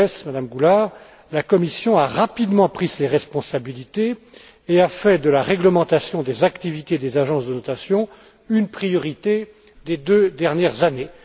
Gauzès, M me Goulard, la Commission a rapidement pris ses responsabilités et a fait de la réglementation des activités des agences de notation une priorité des deux dernières années.